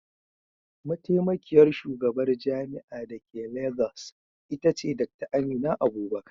Mataimakiyar shugabar jami'ar da ke Legas ita ce Dr. Amina Abubakar.